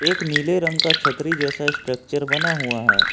एक नीले रंग का छतरी जैसा स्ट्रक्चर बना हुआ है।